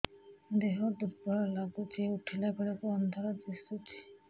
ଦେହ ଦୁର୍ବଳ ଲାଗୁଛି ଉଠିଲା ବେଳକୁ ଅନ୍ଧାର ଦିଶୁଚି